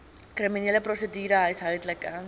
kriminele prosedure huishoudelike